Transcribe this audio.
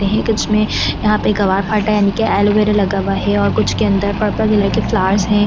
यहां पे गवार फटा यानी कि एलोवेरा लगा हुआ है और कुछ के अंदर पर्पल कलर के फ्लावर्स है एक।